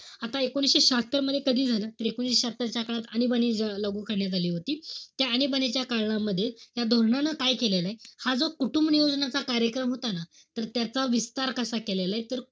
आता एकोणीशे शहात्तर मध्ये, कधी झालं? तर एकोणीशे शहात्तर च्या काळात आणीबाणी लागू करण्यात आली होती. त्या आणीबाणीच्या काळामध्ये, या धोरणांनं काय केलेलं? हा जो कुटुंबनियोजनाचा कार्यक्रम होता ना, तर त्याचा विस्तार कसा केलेलाय, तर,